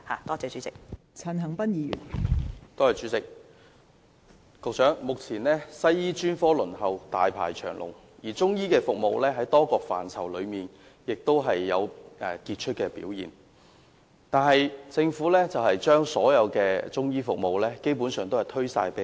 代理主席，目前輪候西醫專科的人大排長龍，而中醫服務雖然在多個範疇有傑出表現，但政府卻基本上把所有中醫服務全數推給非政府機構負責。